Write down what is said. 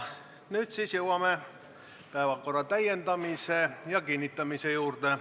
Nüüd jõuame päevakorra täiendamise ja kinnitamise juurde.